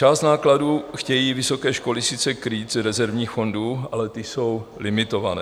Část nákladů chtějí vysoké školy sice krýt z rezervních fondů, ale ty jsou limitované.